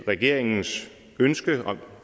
regeringens ønske om at